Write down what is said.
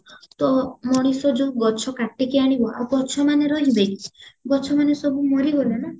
ତ ମଣିଷ ଯୋଉ ଗଛ କାଟିକି ଆଣିବା ଆଉ ଗଛମାନେ ରହିବେ କି ଗଛ ମାନେ ସବୁ ମରିଗଲେ ନାଁ